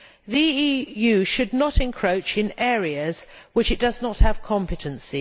The EU should not encroach in areas in which it does not have competency.